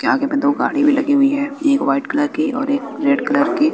के आगे में दो गाड़ी भी लगी हुई है एक व्हाइट कलर की और एक रेड कलर की।